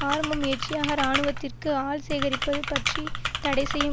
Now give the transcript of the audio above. ஆரம்ப முயற்சியாக இராணுவத்திற்கு ஆள் சேகரிப்பது பற்றி தடை செய்யும்